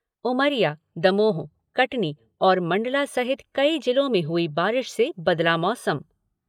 उमरिया, दमोह, कटनी और मंडला सहित कई जिलों में हुई बारिश से बदला मौसम।